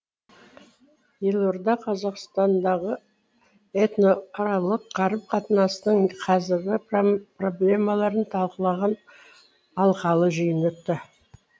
елордада қазақстандағы этносаралық қарым қатынастың қазіргі проблемаларын талқылаған алқалы жиын өтті